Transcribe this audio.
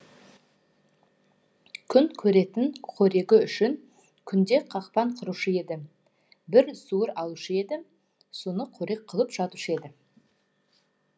күн көретін қорегі үшін күнде қақпан құрушы еді бір суыр алушы еді соны қорек қылып жатушы еді